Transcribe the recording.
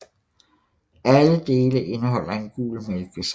Alle dele indeholder en gul mælkesaft